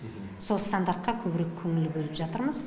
сол стандартқа көбірек көңіл бөліп жатырмыз